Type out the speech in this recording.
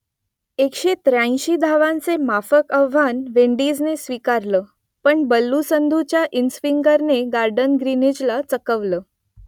एकशे त्र्याऐंशी धावांचं माफक आव्हान विंडीजने स्वीकारलं पण बल्लू संधूच्या इनस्विंगरने गॉर्डन ग्रिनीजला चकवलं